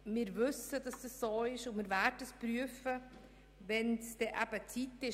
Wir wissen, dass es so ist, und wir werden es prüfen, wenn die Zeit kommt.